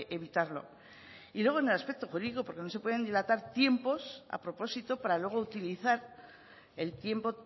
evitarlo y luego en el aspecto jurídico porque no se pueden dilatar tiempos a propósito para luego utilizar el tiempo